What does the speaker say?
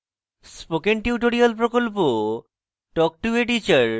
spoken tutorial প্রকল্প talk to a teacher প্রকল্পের অংশবিশেষ